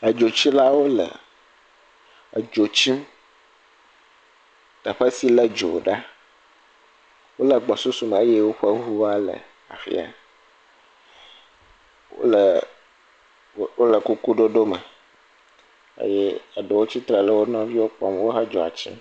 Edzitsilawo le edzo tsim teƒe si le dzo la. Wo le gbɔsusu me eye woƒe ŋua le afi ya. Wo le wo le kukuɖoɖo me eye eɖewo tsitre ɖe wo nɔviwo kpɔm who dzoa tsim.